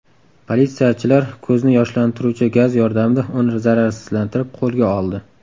Politsiyachilar ko‘zni yoshlantiruvchi gaz yordamida uni zararsizlantirib, qo‘lga oldi.